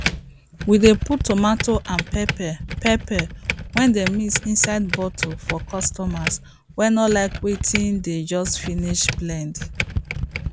we dey put tomato and pepper pepper wey dem mix inside bottle for customers wey no like wetin dey just finish blend